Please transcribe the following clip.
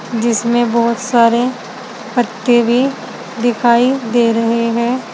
जिसमें बहुत सारे पत्ते भी दिखाई दे रहे हैं।